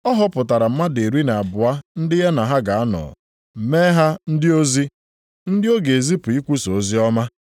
Ọ họpụtara mmadụ iri na abụọ ndị ya na ha ga-anọ, mee ha ndị ozi. Ndị ọ ga-ezipụ ikwusa oziọma,